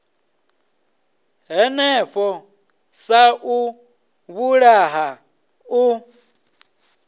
hanefho sa u vhulaha u